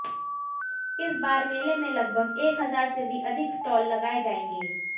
इस बार मेले में लगभग एक हजार से भी अधिक स्टाल लगाए जाएंगे